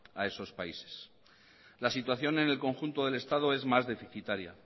a esos países la situación en el conjunto del estado es más deficitaria